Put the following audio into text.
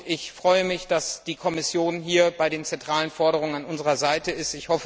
Ich freue mich, dass die Kommission bei den zentralen Forderungen hier an unserer Seite ist.